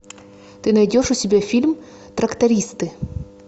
ты найдешь у себя фильм трактористы